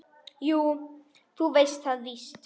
Jú, þú veist það víst.